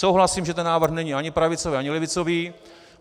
Souhlasím, že ten návrh není ani pravicový ani levicový.